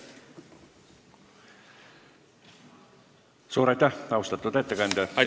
Suur aitäh, austatud ettekandja!